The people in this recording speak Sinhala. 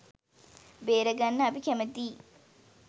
බේරගන්න අපි කැමැතියි.